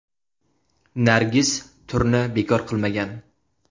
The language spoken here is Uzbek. Nargiz turni bekor qilmagan.